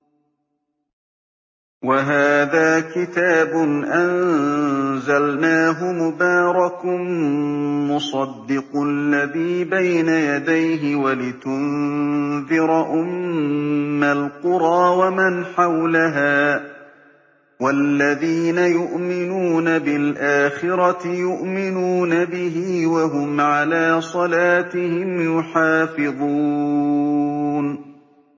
وَهَٰذَا كِتَابٌ أَنزَلْنَاهُ مُبَارَكٌ مُّصَدِّقُ الَّذِي بَيْنَ يَدَيْهِ وَلِتُنذِرَ أُمَّ الْقُرَىٰ وَمَنْ حَوْلَهَا ۚ وَالَّذِينَ يُؤْمِنُونَ بِالْآخِرَةِ يُؤْمِنُونَ بِهِ ۖ وَهُمْ عَلَىٰ صَلَاتِهِمْ يُحَافِظُونَ